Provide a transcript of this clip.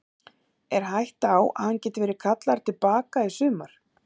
Er hætta á að hann geti verið kallaður til baka í sumar?